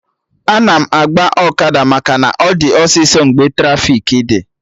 Ana agba ọkada maka na ọ dị ọsịsọ mgbe trafiki dị